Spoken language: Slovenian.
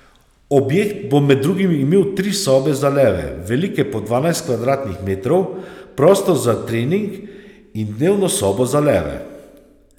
Objekt bo med drugim imel tri sobe za leve, velike po dvanajst kvadratnih metrov, prostor za trening in dnevno sobo za leve.